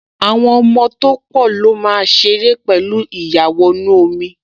Àwọn ọmọ tó pọ̀ ló máa ṣeré pẹ̀lú ìyàwọnù-ọmọ